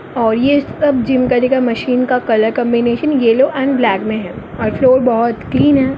और ये सब जीम करने का मशीन का कलर कांबिनेशन येलो और ब्लैक में है और फ्लोर बहुत क्लीन है।